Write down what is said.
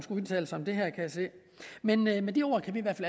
udtale sig om det her men med med de ord kan vi i hvert